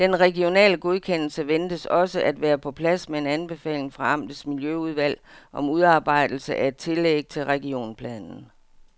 Den regionale godkendelse ventes også at være på plads med en anbefaling fra amtets miljøudvalg om udarbejdelse af et tillæg til regionsplanen.